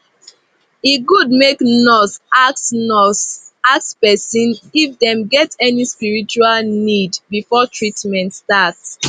e good make nurse ask nurse ask person if dem get any spiritual need before treatment start